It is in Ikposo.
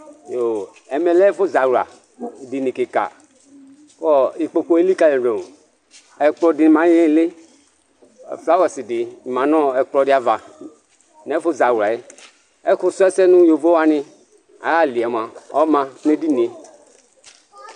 Ɛmɛ lɛ ɛfʊ zawla dɩnɩ kɩka, kɔ ɩkpokʊ elɩkalɩdʊ Ɛkplɔ dɩ ma nɩɩlɩ Flawɛs dɩ ma nʊ ɛkplɔ ava nɛfʊ zawla yɛ Ɛkʊ sʊɛsɛ nʊ ƴovo wanɩ ayalɩ yɛ ɔma nedɩnɩe